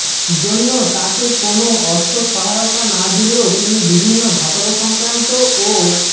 জন্য তাঁকে কোন অর্থ সহায়তা না দিলেও তিনি বিভিন্ন ধাতব সংক্রান্ত ও